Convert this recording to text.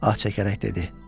Ah çəkərək dedi.